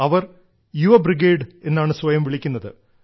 അവർ യുവ ബ്രിഗേഡ് എന്നാണ് സ്വയം വിളിക്കുന്നത്